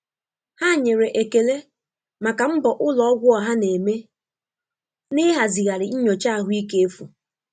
Ha nyere ekele maka mbọ ụlọ ọgwụ ọha na-eme n'ịhazigharị nyocha ahụike efu.